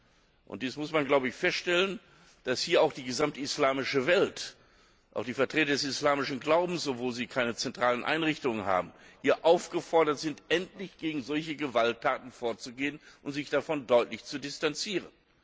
Man muss feststellen, dass hier auch die gesamte islamische Welt auch die Vertreter des islamischen Glaubens, obwohl sie keine zentralen Einrichtungen haben aufgefordert ist, endlich gegen solche Gewalttaten vorzugehen und sich davon deutlich zu distanzieren.